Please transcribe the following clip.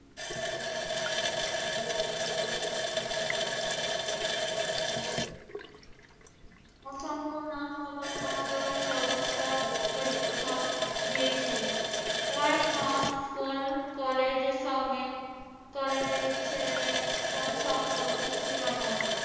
থাকায় online ব্যবস্থায় পরীক্ষা দিয়েছে। কয়েকমাস স্কুল-কলেজের সঙ্গে কলেজের ছেলে-মেয়েদের কোন সম্পর্ক ছিল না।